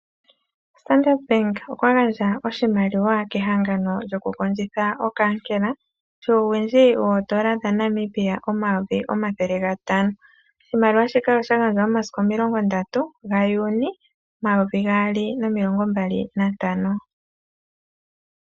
Ombaanga ndjono yoStandard bank oya gandja oshimaliwa kehangano lyo ku kondjitha omukithi ngoka gokaakela ano oodolla dhaNamibia omayovi omathele gantano nokwali sha gandjwa momasiku omilongo ndatu gaYuuni omayovi gaali nomilongo mbali nantano.